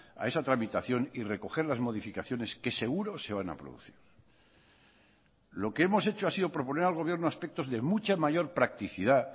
a esa tramitación y recoger las modificaciones que seguro se van a producir lo que hemos hecho ha sido proponer al gobierno aspectos de mucha mayor practicidad